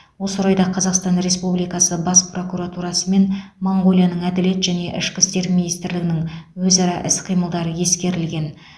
осы орайда қазақстан республикасы бас прокуратурасы мен моңғолияның әділет және ішкі істер министрлігінің өзара іс қимылы ескерілген